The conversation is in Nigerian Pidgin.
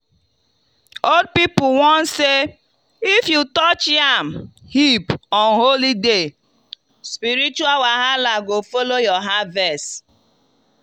old people warn say if you touch yam heap on holy day spiritual wahala go follow your harvest.